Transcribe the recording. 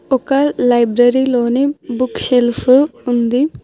ఒక లైబ్రరీ లోని book shelf ఉంది.